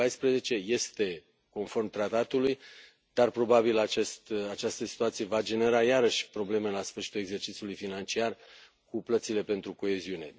2014. Este conform tratatului, dar, probabil, această situație va genera iarăși probleme la sfârșitul exercițiului financiar cu plățile pentru coeziune.